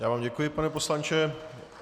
Já vám děkuji, pane poslanče.